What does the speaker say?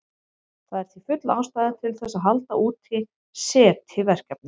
Það er því full ástæða til þess að halda úti SETI-verkefni.